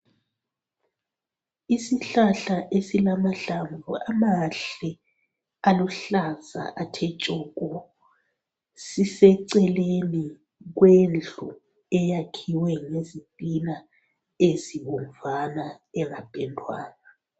Isihlahla esilamahlamvu amahle aluhlaza athe tshoko. siseceleni kwendlu eyakhiwe ngezitina ezibomvama engapendwanga .